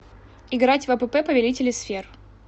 играть в апп повелители сфер